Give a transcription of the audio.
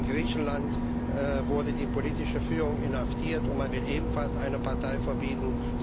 In Griechenland wurde die politische Führung inhaftiert, und man will eine ebenfalls eine Partei verbieten.